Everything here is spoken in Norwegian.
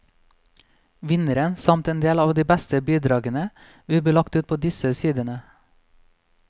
Vinneren samt en del av de beste bidragene vil bli lagt ut på disse sidene.